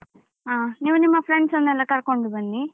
ಹ ನೀವು ನಿಮ್ಮ friends ಅನ್ನೆಲ್ಲ ಕರ್ಕೊಂಡು ಬನ್ನಿ.